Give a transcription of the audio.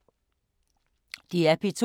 DR P2